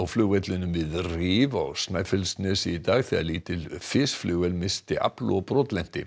flugvöllinn við Rif á Snæfellsnesi í dag þegar lítil missti afl og brotlenti